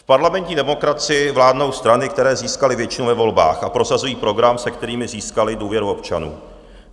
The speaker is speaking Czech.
V parlamentní demokracii vládnou strany, které získaly většinu ve volbách a prosazují program, s kterým získaly důvěru občanů.